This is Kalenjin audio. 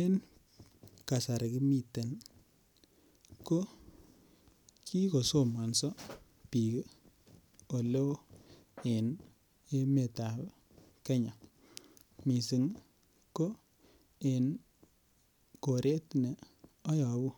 En kasari kimiten ko ki kosomanso bik oleo en emetab Kenya mising ko en koret ne ayobu